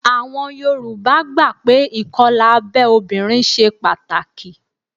Àwọn Yorùbá gbà pé ìkọlà abẹ́ obìnrin ṣe pàtàkì